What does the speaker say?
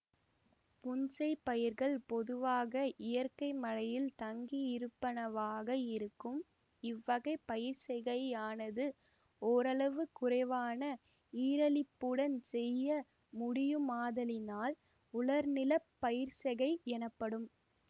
புன்செய் பயிர்கள் பொதுவாக இயற்கை மழையில் தங்கியிருப்பனவாக இருக்கும் இவ்வகை பயிர்ச்செய்கையானது ஓரளவு குறைவான ஈரலிப்புடன் செய்ய முடியுமாதலினால் உலர்நிலப் பயிர்ச்செய்கை எனப்படும்